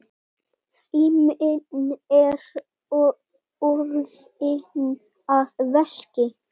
Síminn er orðinn að veski.